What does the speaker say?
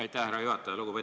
Aitäh, härra juhataja!